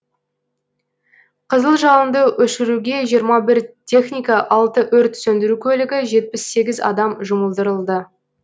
қызыл жалынды өшіруге жиырма бір техника алты өрт сөндіру көлігі жетпіс сегіз адам жұмылдырылды